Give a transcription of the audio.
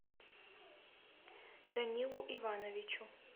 данилу ивановичу